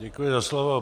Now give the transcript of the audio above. Děkuji za slovo.